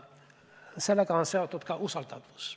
Sellega on seotud ka usaldatavus.